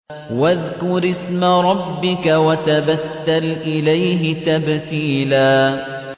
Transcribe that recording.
وَاذْكُرِ اسْمَ رَبِّكَ وَتَبَتَّلْ إِلَيْهِ تَبْتِيلًا